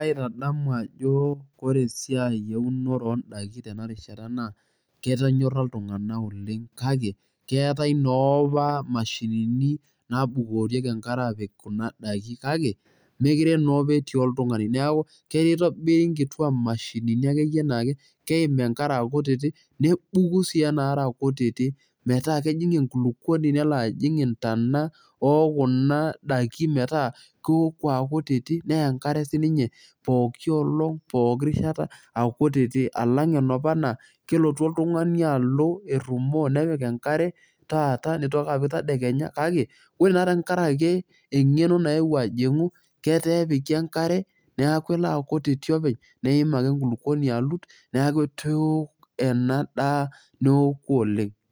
Kaitadamu ajo ore esiai eunore odaiki tenarishata naa, ketonyorra iltung'anak oleng' kake, keetae no apa mashinini nabukorieki enkare apik kuna daiki kake, mekire naapa etii oltung'ani. Neeku, keitobiri nkitua mashinini akeyie na keim enkare akutitik, nebuku si enaare akutiti metaa kejing' enkulukuoni nelo ajing' intana okuna daikin metaa, keoku akutiti, nea enkare sininye pooki olong', pooki rishata akutiti, alang' enapa naa kelotu oltung'ani alo, errumoo nepik enkare, taata, nitoki apik tadekenya, kake ore naa tankaraki eng'eno naewuo ajing'u, ketee epiki enkare, neeku kelo akutiti openy, neim ake enkulukuoni alut, neeku eteok enadaa neoku okeng'.